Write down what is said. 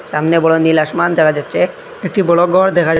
সামনে বড় নীল আসমান দেখা যাচ্ছে একটি বড় ঘর দেখা--